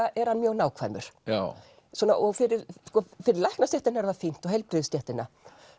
er hann mjög nákvæmur og fyrir fyrir læknastéttina er það fínt og heilbrigðisstéttina